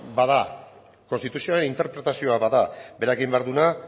bada konstituzioaren interpretazioa bada berak egin behar duena